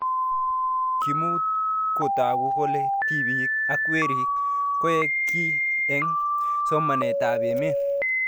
Kimukotagu kole tipik ak werik koek kiy eng' somanet ab emet